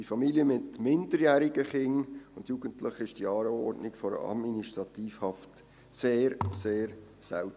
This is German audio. Bei Familien mit minderjährigen Kindern und Jugendlichen ist die Anordnung der Administrativhaft sehr, sehr selten.